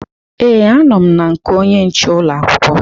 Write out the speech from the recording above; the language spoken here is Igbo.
Ee, anọ m na nke onye nche ụlọ akwụkwọ